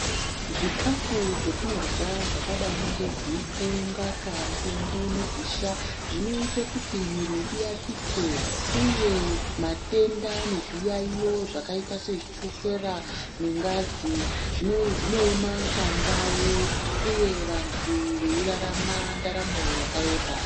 Zvikhafu zvetinorya zvakadai ngeguku, ngaka, nzungu negusha zvinoite kuti mwiri iakike, uye matenda nezviyaiyo zvakaita sechukera nengazi zvinoema pandau, uye vantu veirarama ndaramo yakareba.